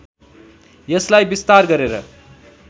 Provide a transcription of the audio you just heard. यसलाई विस्तार गरेर